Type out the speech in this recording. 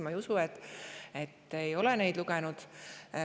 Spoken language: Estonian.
Ma ei usu, et ta ei ole neid lugenud.